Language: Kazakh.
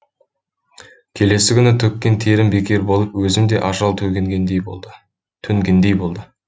келесі күні төккен терім бекер болып өзім де ажал төнгендей болды